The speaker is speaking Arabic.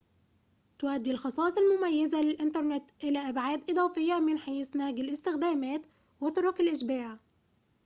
تؤدي الخصائص المميزة للإنترنت إلى أبعاد إضافية من حيث نهج الاستخدامات وطرق الإشباع